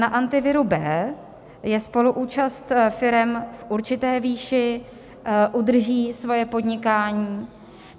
Na Antiviru B je spoluúčast firem v určité výši, udrží svoje podnikání.